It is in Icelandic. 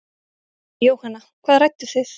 Jóhanna: Hvað rædduð þið?